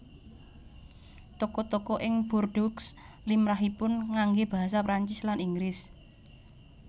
Toko toko ing Bordeaux limrahipun nganggé basa Prancis lan Inggris